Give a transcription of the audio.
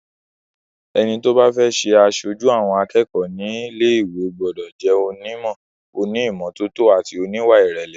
Ẹni tó bá fẹ́ jẹ aṣojú àwọn akẹ́kọ̀ọ́ nílé ìwé gbọ́dọ̀ jẹ́ onímọ̀, oní ìmọ́tótó àti oníwà ìrẹ̀lẹ̀.